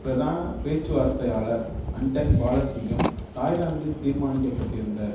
பிரதான பேச்சுவார்த்தையாளர் அன்டன் பாலசிங்கம் தாய்லாந்தில் தீர்மானிக்க பட்டிருந்த